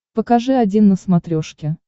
покажи один на смотрешке